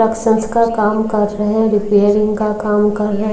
का काम कर रहे रिपेयरिंग का काम कर रहे --